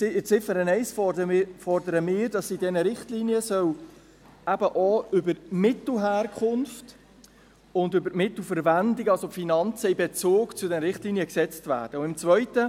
In Ziffer 1 fordern wir, dass in diesen Richtlinien eben auch über die Mittelherkunft und über die Mittelverwendung … dass also die Finanzen in Bezug zu den Richtlinien gesetzt werden sollen.